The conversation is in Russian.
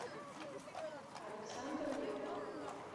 александр ревва